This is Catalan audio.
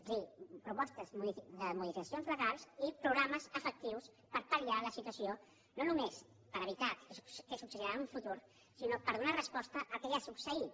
és a dir propostes de modificacions legals i programes efectius per pal·liar la situació no només per evitar què succeirà en un futur sinó per donar res·posta al que ja ha succeït